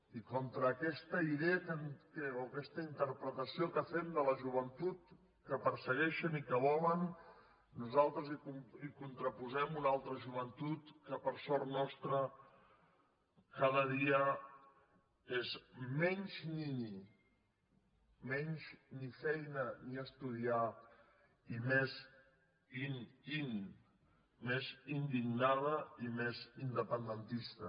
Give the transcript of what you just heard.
i contra aquesta idea o aquesta interpretació que fem de la joventut que persegueixen i que volen nosaltres hi contraposem una altra joventut que per sort nostra cada dia és menys nini menys ni feina ni estudiar i més in in més indignada i més independentista